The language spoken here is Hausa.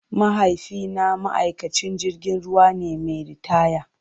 Mahaifina ma'aikacin jirgin ruwa ne mai ritaya.